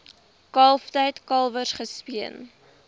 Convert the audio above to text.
kalftyd kalwers gespeen